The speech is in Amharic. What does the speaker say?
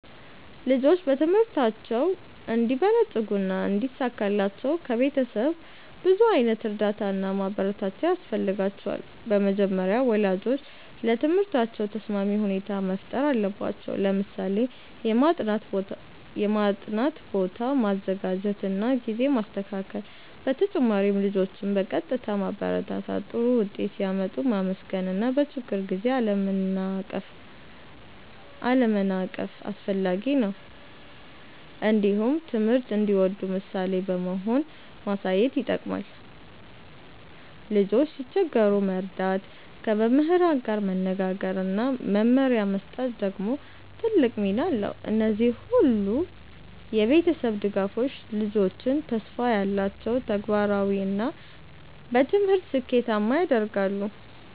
ልጆች በትምህርታቸው እንዲበለጽጉና እንዲሳካላቸው ከቤተሰብ ብዙ ዓይነት እርዳታ እና ማበረታቻ ያስፈልጋቸዋል። በመጀመሪያ ወላጆች ለትምህርታቸው ተስማሚ ሁኔታ መፍጠር አለባቸው፣ ለምሳሌ የማጥናት ቦታ ማዘጋጀት እና ጊዜ ማስተካከል። በተጨማሪም ልጆችን በቀጥታ ማበረታታት፣ ጥሩ ውጤት ሲያመጡ ማመስገን እና በችግር ጊዜ አለመናቀፍ አስፈላጊ ነው። እንዲሁም ትምህርት እንዲወዱ ምሳሌ በመሆን ማሳየት ይጠቅማል። ልጆች ሲቸገሩ መርዳት፣ ከመምህራን ጋር መነጋገር እና መመሪያ መስጠት ደግሞ ትልቅ ሚና አለው። እነዚህ ሁሉ የቤተሰብ ድጋፎች ልጆችን ተስፋ ያላቸው፣ ተግባራዊ እና በትምህርት ስኬታማ ያደርጋሉ።